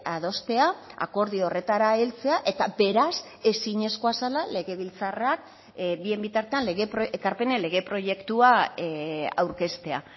adostea akordio horretara heltzea eta beraz ezinezkoa zela legebiltzarrak bien bitartean ekarpenen lege proiektua aurkeztea